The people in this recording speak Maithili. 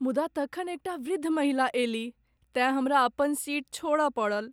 मुदा तखन एकटा वृद्ध महिला अयलीह तेँ हमरा अपन सीट छोड़य पड़ल।